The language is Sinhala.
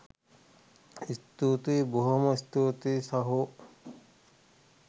ස්තුතියි බොහොම ස්තූතියි සහෝ